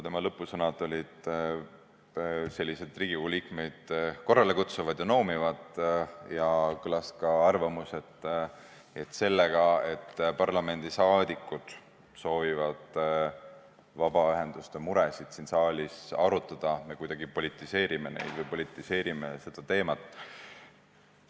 Tema lõpusõnad olid Riigikogu liikmeid korrale kutsuvad ja noomivad ning kõlas ka arvamus, et sellega, et parlamendiliikmed soovivad vabaühenduste muresid siin saalis arutada, me kuidagi politiseerime neid või politiseerime seda teemat.